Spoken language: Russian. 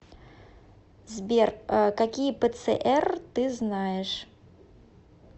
сбер какие пцр ты знаешь